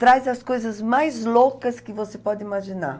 Traz as coisas mais loucas que você pode imaginar.